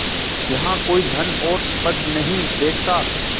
यहाँ कोई धन और पद नहीं देखता